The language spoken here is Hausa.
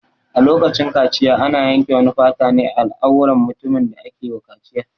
A lokacin kaciya ana yanke wani fata ne a al'auran mutumin da ake wa kaciyar.